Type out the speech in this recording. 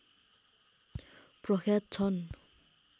प्रख्यात छन्